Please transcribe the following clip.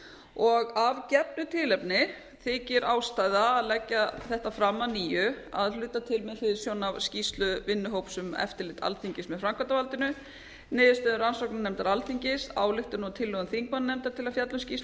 og af gefnu tilefni þykir ástæða að leggja þetta fram á nýju að hluta til með hliðsjón af skýrslu vinnuhóps um eftirlit alþingis með framkvæmdarvaldinu um niðurstöður rannsóknarnefndar alþingis ályktun og tillögum þingmannanefndar til að fjalla um skýrslu